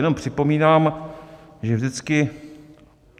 Jenom připomínám, že vždycky...